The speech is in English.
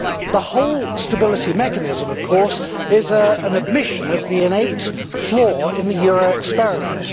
The whole stability mechanism, of course, is an admission of the innate flaw in the euro experiment.